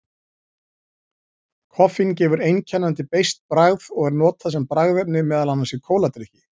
Koffín gefur einkennandi beiskt bragð og er notað sem bragðefni meðal annars í kóladrykki.